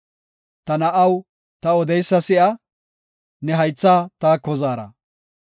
Ta na7aw, ta odeysa si7a; ne haythaa taako zaara.